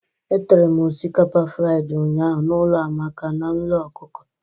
Etere m osikapa fridi ụnyaahụ n'ụlọ Amaka na nro ọkụkọ.